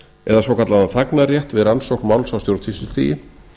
eða svokallaðan þagnarrétt við rannsókn máls á stjórnsýslustigi